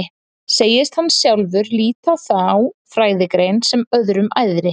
Segist hann sjálfur líta á þá fræðigrein sem öðrum æðri.